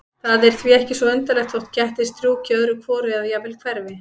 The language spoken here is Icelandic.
Það er því ekki svo undarlegt þótt kettir strjúki öðru hvoru eða jafnvel hverfi.